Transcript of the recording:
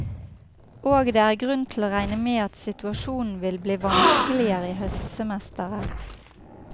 Og det er grunn til å regne med at situasjonen vil bli vanskeligere i høstsemesteret.